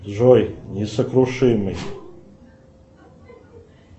джой несокрушимый